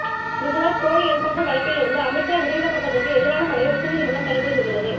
குஜராத் போலி என்கவுண்டர் வழக்கிலிருந்து அமித்ஷா விடுவிக்கப்பட்டதற்கு எதிரான மனுவை உச்சநீதிமன்றம் தள்ளுபடி செய்துள்ளது